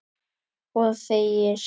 Og þegir.